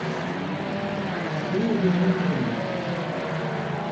рио де жанейро